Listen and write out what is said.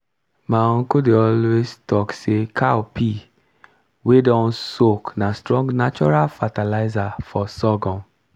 my uncle dey always talk say cow pee wey don soak na strong natural fertilizer for sorghum